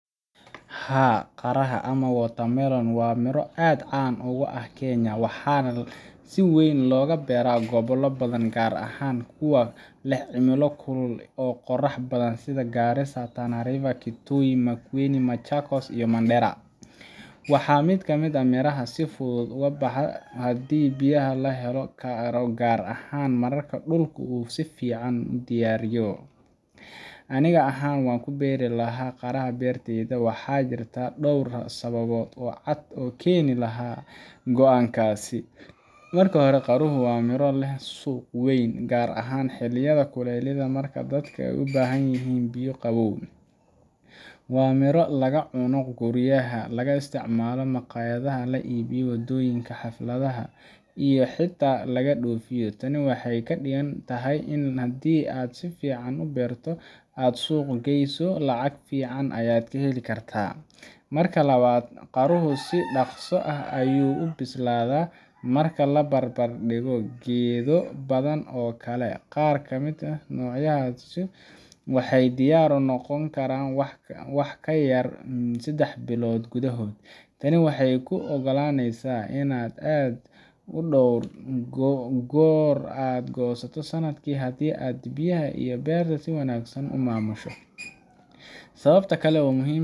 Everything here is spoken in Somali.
Haa, qaraha ama watermelon waa miro aad caan uga ah Kenya, waxaana si weyn looga beeraa gobollo badan, gaar ahaan kuwa leh cimilo kulul oo qorrax badan sida Garissa, Tana River, Kitui, Makueni, Machakos, iyo Mandera. Waa mid ka mid ah miraha si fudud u baxa haddii biyaha la heli karo, gaar ahaan marka dhulka si fiican loo diyaariyo. Aniga ahaan, waan ku beeri lahaa qaraha beertayda, waxaana jirta dhowr sababood oo cad oo keeni lahaa go’aankaas: Marka hore, qaruhu waa miro leh suuq weyn, gaar ahaan xilliyada kulaylaha marka dadka u baahdaan biyo iyo qabow. Waa miro laga cuno guryaha, laga isticmaalo maqaayadaha, laga iibiyo waddooyinka, xafladaha, iyo xataa laga dhoofiyo. Tani waxay ka dhigan tahay in haddii aad si fiican u beerto oo aad u suuq geyso, lacag fiican ayaad ka heli kartaa. Marka labaad, qaruhu si dhakhso ah ayuu u bislaadaa marka la barbar dhigo geedo badan oo kale. Qaar ka mid ah noocyadiisu waxay diyaar u noqdaan wax ka yar sedax bilood gudahood. Tani waxay kuu ogolaanaysaa in aad dhowr goor ka goosato sanadkii haddii aad biyaha iyo beerta si wanaagsan u maamusho. Sababta kale oo muhiim